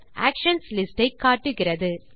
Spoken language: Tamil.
ஆக்ஷன்ஸ் லிஸ்ட் ஐ காட்டுகிறது